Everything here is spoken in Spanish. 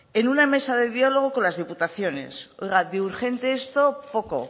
en una mesa de diálogo con las diputaciones oiga de urgentes esto poco